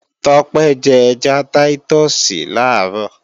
Tọ́pẹ́ jẹ́ ẹja táítọ̀sì làárọ̀